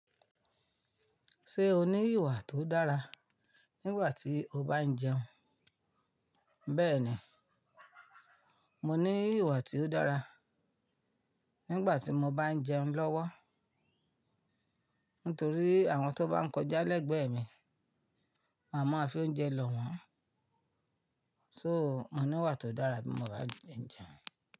Ṣé o ní ìwà tó dára nígbà tí o bá ń jẹun? Bẹ́ẹ̀ni, mo ní ìwà tí ó dára nígbà tí mo bá ń jẹun lọ́wọ́. Nítorí àwọn tó bá ńkọjá lẹ́gbẹ̀ẹ́ mi, ma ma fi oúnjẹ lọ wọ́n. So, mo ní ìwà tó dára bí mo bá ti ń jẹun.